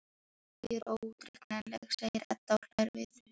Ég er óútreiknanleg, segir Edda og hlær við.